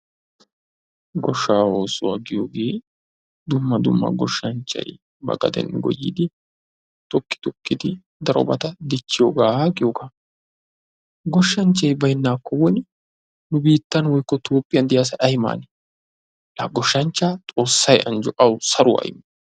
Goshshaa oosuwa giyooge dumma dumma goshshanchchay ba gaden goyidi toki tokkidi darobata dichxhiyooga goyooga. Goshshanchchay baynnakko woni nu biittan woykko Topphiyan diyaa asay ay maanee? La goshshanchchaa Xoossay anjjo awu saruwaa immo.